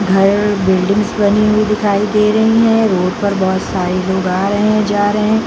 घर बिल्डिंग्स बनी हुई दिखाई दे रही है रोड पर बहुत सारे लोग आ रहे है जा रहे है --